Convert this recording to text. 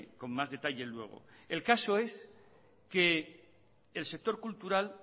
con más detalle luego el caso es que el sector cultural